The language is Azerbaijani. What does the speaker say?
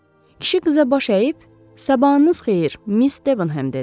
Kişi qıza baş əyib: "Sabahınız xeyir, Miss Devonhem" dedi.